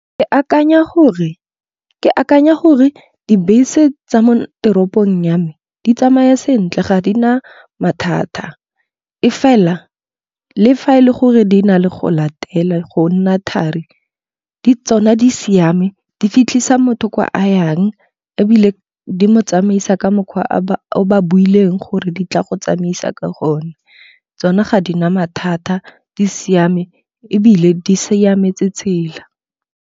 Ke akanya gore dibese tsa mo teropong ya me di tsamaya sentle ga di na mathata. E fela le fa e le gore di na le go latela, go nna thari. Tsona di siame di fitlhisa motho kwa a yang ebile di mo tsamaisa ka mokgwa o ba builweng gore di tla go tsamaisa ka gone. Tsone ga di na mathata di siame ebile di siametse tsela.